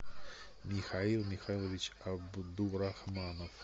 михаил михайлович абдурахманов